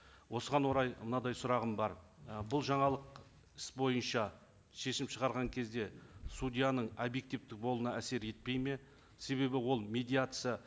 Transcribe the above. осыған орай мынадай сұрағым бар і бұл жаңалық іс бойынша шешім шығарған кезде судьяның объективті болуына әсер етпейді ме себебі ол медиация